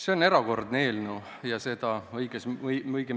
See on erakordne eelnõu ja seda õige mitmes mõttes.